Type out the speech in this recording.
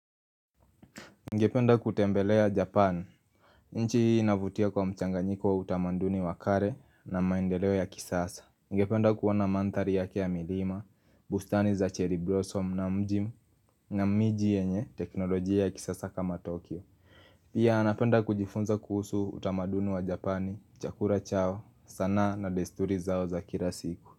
Nigependa kutembelea Japan nchi hii inavutia kwa mchanganyiko wa utamanduni wa kare na maendeleo ya kisasa Nigependa kuona manthari yake ya milima, bustani za cherry blossom na mji na miji yenye teknolojia ya kisasa kama Tokyo Pia napenda kujifunza kuhusu utamanduni wa Japani, chakura chao, sanaa na desturi zao za kila siku.